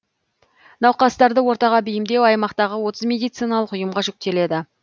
науқастарды ортаға бейімдеу аймақтағы отыз медициналық ұйымға жүктеледі